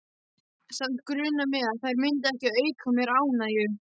Samt grunaði mig að þær myndu ekki auka mér ánægju.